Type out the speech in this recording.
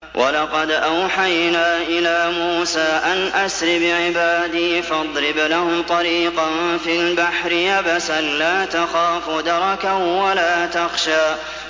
وَلَقَدْ أَوْحَيْنَا إِلَىٰ مُوسَىٰ أَنْ أَسْرِ بِعِبَادِي فَاضْرِبْ لَهُمْ طَرِيقًا فِي الْبَحْرِ يَبَسًا لَّا تَخَافُ دَرَكًا وَلَا تَخْشَىٰ